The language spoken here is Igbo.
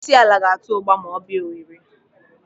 Onyeisiala ga-ata ụgba ma ọ bịa Owere.